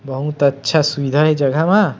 बहतु अच्छा सुविधा हे ए जगह म --